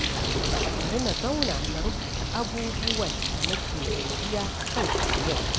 Bari na zauna na rubuta abubuwan da nake godiya a kansu a yau.